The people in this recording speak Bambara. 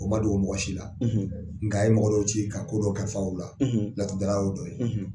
O man dogo mɔgɔ si la nka a ye mɔgɔ dɔw ci ka kodɔw kalifa u la laturudala y'o dɔ ye.